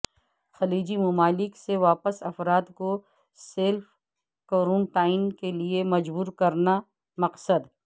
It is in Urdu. خلیجی ممالک سے واپس افراد کو سلف کورنٹائن کے لیے مجبور کرنا مقصد